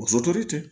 O tɛ